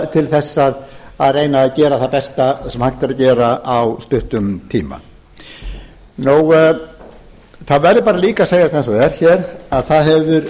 til þess að reyna að gera það besta sem hægt er að gera á stuttum tíma það verður líka að segjast eins og er að það hefur